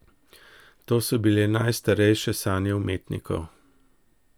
To so bile najstarejše sanje umetnikov.